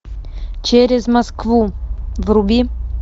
через москву вруби